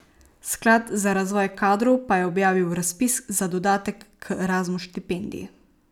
Sklad za razvoj kadrov pa je objavil razpis za dodatek k Erasmus štipendiji.